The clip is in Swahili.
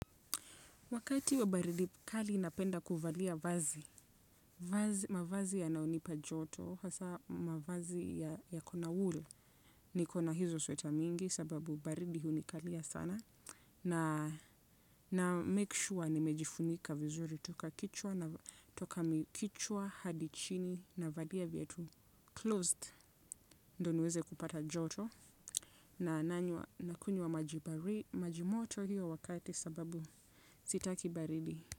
Wakati wa baridi kali napenda kuvalia vazi, mavazi yanayonipa joto hasa mavazi yakona wool niko na hizo sweta mingi sababu baridi hunikalia sana na make sure nimejifunika vizuri toka kichwa hadi chini navalia viatu closed ndio niweze kupata joto na nanywa nakunywa maji moto hiyo wakati sababu sitaki baridi.